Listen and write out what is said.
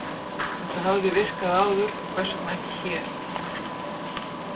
Þetta hafði virkað áður, hvers vegna ekki hér?